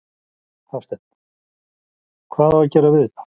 Hafsteinn: Hvað á að gera við þetta?